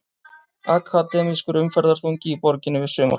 Akademískur umferðarþungi í borginni við sumarlok